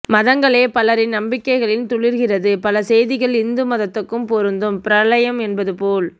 மதங்களே பலரின் நம்பிக்கைகளில் துளிர்க்கிறது பல செய்திகள் இந்து மதத்துக்கும்பொருந்தும் பிரளயம் என்பது போல்